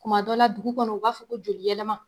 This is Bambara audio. Tuma dɔ la dugu kɔnɔ u b'a fɔ ko joli yɛlɛma.